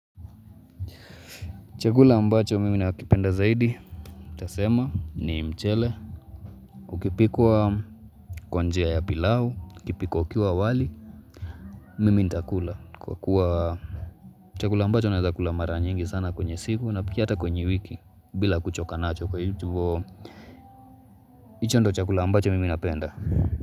Chakula ambacho mimi nakipenda zaidi, nitasema ni mchele, ukipikwa kwa njia ya pilau, ukipikwa ukiwa wali, mimi nitakula. Kwa kuwa chakula ambacho naeza kula mara nyingi sana kwenye siku, na pia hata kwenye wiki, bila kuchoka nacho kwa hivo, hicho ndicho chakula ambacho mimi napenda.